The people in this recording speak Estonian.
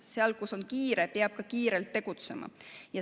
Seal, kus on kiire, peab ka kiirelt tegutsema.